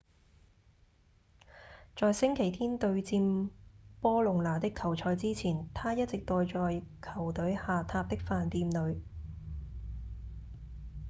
在星期天對戰波隆那的球賽之前他一直待在球隊下榻的飯店裡